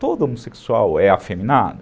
Todo homossexual é afeminado?